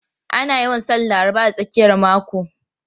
Ana yawan sanin Laraba da tsakiyar mako.